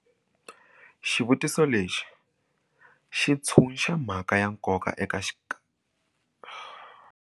Xivutiso lexi xi tshunxa mhaka ya nkoka eka .